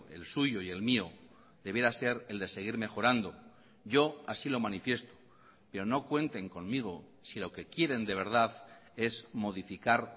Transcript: el suyo y el mío debiera ser el de seguir mejorando yo así lo manifiesto pero no cuenten conmigo si lo que quieren de verdad es modificar